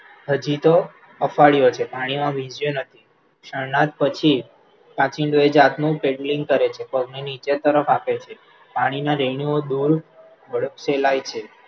હજી તો અફાળ્યો છે, પાણીમાં વીંઝયો નથી, શરણાદ પછી કાંચિડો એ જાતનું પેડલિંગ કરે છે, પગને નીચે તરફ હાંકે છે, પાણીના વહેણો દૂર ફેલાય છે,